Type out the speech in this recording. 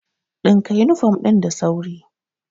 Ɗinka yunifom ɗin da sauri!